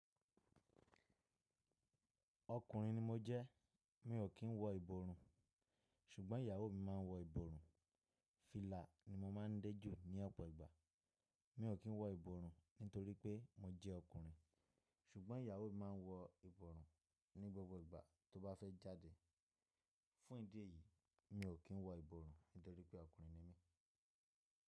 Ọkùnrin ni mo jẹ́, mi ò kí ń wọ ìborùn, ṣùgbọ́n ìyàwó mi máa ń wọ ìborùn. Fílà ni mo máa ń dé jù ní ọ̀pọ̀ ìgbà. Mi ò kí ń wọ ìborùn nítorí pé mo jẹ́ ọkùnrin, ṣùgbọ́n ìyàwó mi máa ń wọ ìborùn ní gbogbo ìgbà tó bá fẹ́ jáde. Fún ìdí èyí, mi ò kí ń wọ ìborùn nítorí pé ọkùnrin ni mí.